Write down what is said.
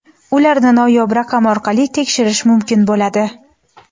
ularni noyob raqam orqali tekshirish mumkin bo‘ladi;.